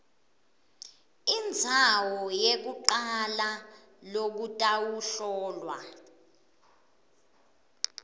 indzawo yekucala lokutawuhlolwa